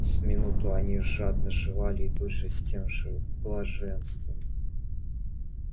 с минуту они жадно жевали и тут же с тем же блаженства